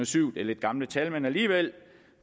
syv det er lidt gamle tal men alligevel